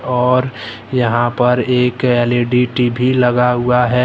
और यहां पर एक एल_ई_डी टी_वी लगा हुआ है।